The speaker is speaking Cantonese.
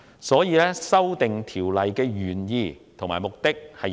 所以，我認同《條例草案》的原意和目的。